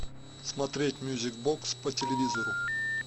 смотреть мюзик бокс по телевизору